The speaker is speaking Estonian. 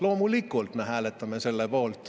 Loomulikult me hääletame selle poolt.